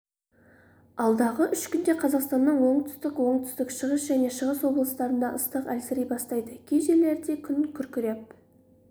алдағы үш күнде қазақстанның оңтүстік оңтүстік-шығыс және шығыс облыстарында ыстық әлсірей бастайды кей жерлерінде күн күркіреп